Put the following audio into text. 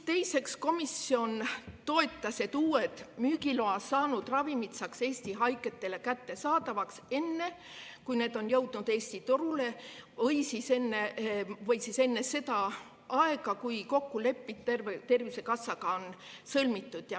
Teiseks, komisjon toetas seda, et uued, müügiloa saanud ravimid saaks Eesti haigetele kättesaadavaks ka enne, kui need on jõudnud Eesti turule või siis enne seda, kui kokkulepe Tervisekassaga on sõlmitud.